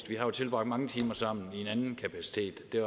vi har jo tilbragt mange timer sammen i en anden kapacitet